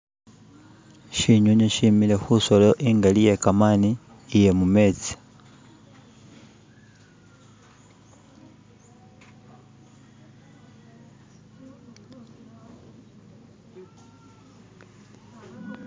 shi'nyonyi she'mile khu'solo i'ngali iye'kamani iye mu'metsi.